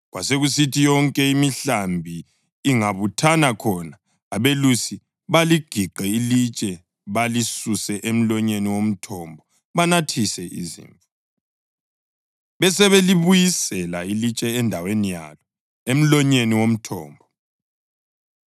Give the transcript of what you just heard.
Kwakusithi yonke imihlambi ingabuthana khona, abelusi baligiqe ilitshe balisuse emlonyeni womthombo banathise izimvu. Besebelibuyisela ilitshe endaweni yalo emlonyeni womthombo.